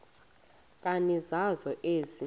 nkani zakho ezi